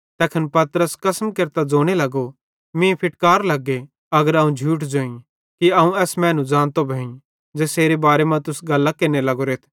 तैखन पतरस कसम केरतां ज़ोने लगो मीं फिटकार लग्गे अगर अवं झूठ ज़ोईं कि अवं एस मैनू ज़ानतो भोईं ज़ेसेरे बारे मां तुस गल्लां केरने लग्गोरेथ